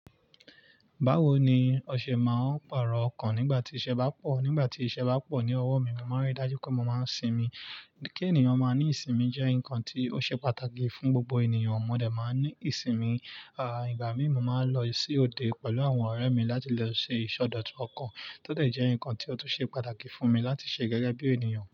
Báwo ni ọṣẹ máa ń pàrọ̀ ọkàn nígbà tí iṣẹ́ bá pọ̀. Nígbà tí iṣẹ́ bá pọ̀ ní ọwọ́ mi, mo máa ń rí dájú pé mo máa ń sinmi. Kí ènìyàn máa ní ìsinmi jẹ́ nǹkan tí ó ṣe pàtàkì fún gbogbo ènìyàn. Mo dé máa ń ní ìsinmi. À ìgbà mí máa ń lọ sí òde pẹ̀lú àwọn ọ̀rẹ́ mi láti lọ ṣe ìsọdọ̀tun ọkàn, tó lè jẹ́ nǹkan tí ó tún ṣe pàtàkì fún mi láti ṣe gẹ́gẹ́ bí ènìyàn.